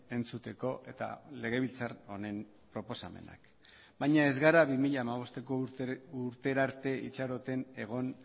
entzuteko eta legebiltzar honen proposamenak baina ez gara bi mila hamabosteko urtera arte itxaroten egon